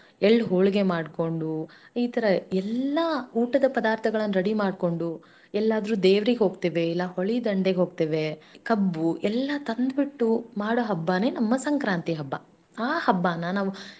ಎಳ್ಳ ಹೋಳಿಗೆಮಾಡಿಕೊಂಡು ಇತರ ಎಲ್ಲಾ ಊಟದಪದಾರ್ಥಗಳನ್ನ ರೆಡಿಮಾಡಿಕೊಂಡು ಎಲ್ಲಾದ್ರೂ ದೇವರಿಗೆ ಹೋಗ್ತೇವೆ ಇಲ್ಲ ಹೊಳೆದಂಡೆ ಹೋಗ್ತೇವೆ ಕಬ್ಬು ಎಲ್ಲ ತಂದು ಬಿಟ್ಟು ಮಾಡೊ ಹಬ್ಬನೇ ನಮ್ಮ ಸಂಕ್ರಾಂತಿ ಹಬ್ಬ, ಆ ಹಬ್ಬನ ನಾವು.